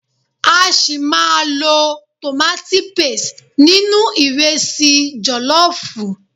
A ṣi máa lo tomati paste nínú ìrẹsi jọ̀lọ́fùú.